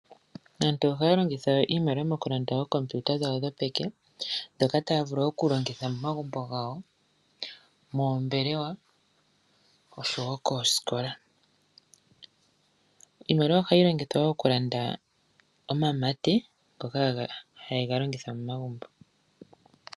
Aantu ohaya longitha iimaliwa mokulanda ookompiuta dhawo dhopeke , ndhoka taya vulu okulongitha momagumbo gawo, moombelewa, oshowoo koosikola. Iimaliwa ohayi longithwa wo okulanda omamate ngoka heya ga longitha momagumbo .